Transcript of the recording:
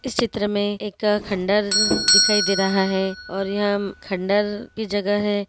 इस चित्र में एक खंडहर दिखाई दे रहा है और यहाँ खंडहर की जगह है।